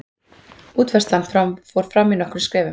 Útfærslan fór fram í nokkrum skrefum.